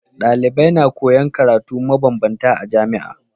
Dalibai na koyan karatu ma banbanta a jamia